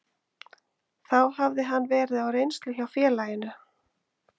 Þá hafði hann verið á reynslu hjá félaginu.